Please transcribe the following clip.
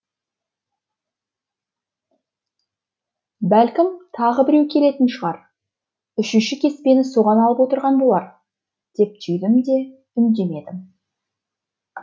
бәлкім тағы біреу келетін шығар үшінші кеспені соған алып отырған болар деп түйдім де үндемедім